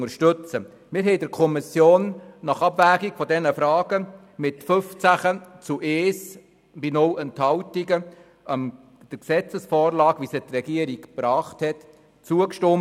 In der Kommission haben wir nach Abwägung dieser Fragen mit 15 zu 1 Stimmen bei 0 Enthaltungen der Gesetzesvorlage, wie sie die Regierung vorgelegt hat, zugestimmt.